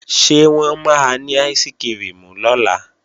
Ṣé wọ́n máa ní áìsikirimù lọ́la?